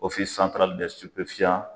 Ofi santarali dɛ sipefiyan